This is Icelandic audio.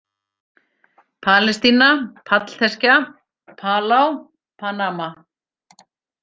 Palestína, Pallteskja, Palá, Panama